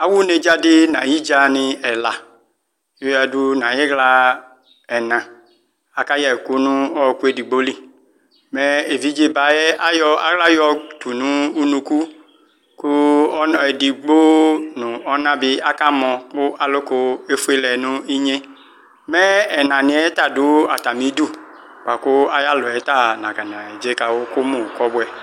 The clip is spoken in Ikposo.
Awʋ nedzadi nʋ ayʋ idza ni ɛla yoyadʋ nʋ ayiɣla ɛna aka yɛ ɛkʋ nʋ ɔkʋ edigboli mɛ evidze bayɛ ayɔ aɣla yɔtʋ nʋ ʋnʋkʋ kʋ edigbo nʋ ɔna bi akamɔ kʋ aluku efuelɛ nʋ inyi mɛ ɛna niyɛta dʋ atami idʋ bʋkʋ ayʋ alɔyɛvta nakɔ neze kawʋ kʋmʋ kɔbʋɛ